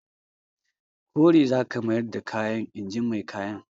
Kore za ka mayar da kayan! in ji mai kayan.